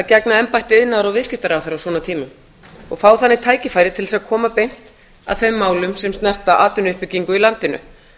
gegna embætti iðnaðar og viðskiptaráðherra á svona tímum og fá þannig tækifæri til þess að koma beint að þeim málum sem snerta atvinnuuppbyggingu í landinu